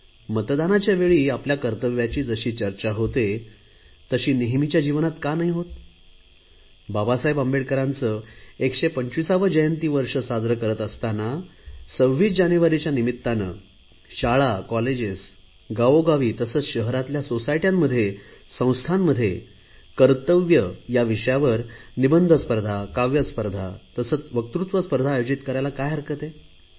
मतदानाच्या वेळी आपल्या कर्तव्याची जशी चर्चा होते तशी नेहमीच्या जीवनात का होत नाही बाबासाहेब आंबेडकरांचे 125 वे जयंती वर्ष साजरे करत असताना 26 जानेवारीच्या निमित्ताने शाळा कॉलेज गावोगावी तसेच शहरातल्या सोसायटया संस्थांमध्ये कर्तव्य या विषयावर निबंध स्पर्धा काव्य स्पर्धा तसेच वक्तृत्व स्पर्धा आयोजित करायला काय हरकत आहे